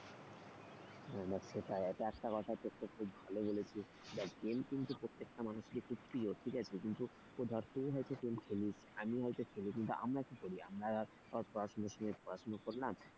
হ্যাঁ দেখ সেটাই এটা একটা কথা যেটা তুই ভালো বলেছিস। দেখ game কিন্তু প্রত্যেকটা মানুষের খুব প্রিয় ঠিক আছে কিন্তু ধর তুই হয়তো game খেলিস আমিও হয়তো game খেলি। আমরা কি করি আমরা সবাই পড়াশোনার সময় পড়াশোনা করলাম।